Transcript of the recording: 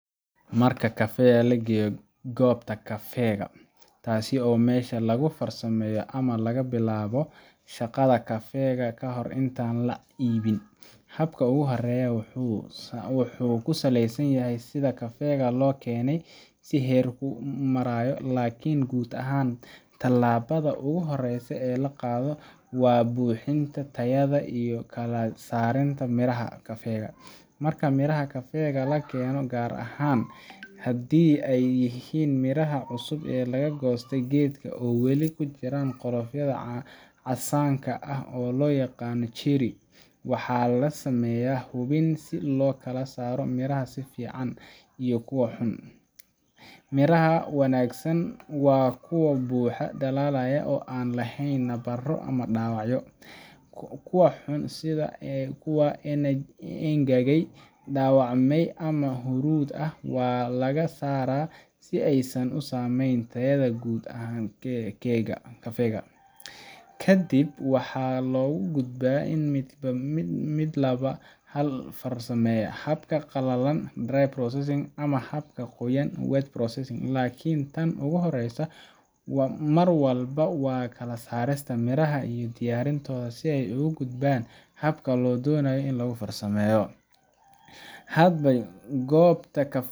Marka kafeega la geeyo goobta kafeega—taasoo ah meesha lagu farsameeyo ama laga bilaabo shaqada kafeega ka hor intaan la iibin—habka ugu horreeya wuxuu ku saleysan yahay sida kafeega loo keenay iyo heerka uu marayo. Laakiin guud ahaan, tallaabada ugu horreysa ee la qaado waa hubinta tayada iyo kala saarista miraha kafeega. Marka miraha kafeega la keeno, gaar ahaan haddii ay yihiin miraha cusub ee laga goostay geedka oo weli ku jiraan qolofkooda casaanka ah, oo loo yaqaan cherry, waxaa la sameeyaa hubin si loo kala saaro miraha fiican iyo kuwa xun. Miraha wanaagsan waa kuwa buuxa, dhalaalaya, oo aan lahayn nabaro ama dhaawacyo. Kuwa xun, sida kuwa engegay, dhaawacmay, ama huruud ah, waa laga saaraa si aysan u saameyn tayada guud ee kafeega. Ka dib, waxaa loo gudbaa mid ka mid ah laba hab oo farsameyn ah: habka qalalan dry processing ama habka qoyan wet processing. Laakiin tan ugu horreysa mar walba waa kala saarista miraha iyo diyaarintooda si ay ugu gudbaan habka la doonayo in lagu farsameeyo. Hadba goobta kafeega